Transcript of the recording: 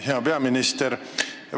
Hea peaminister!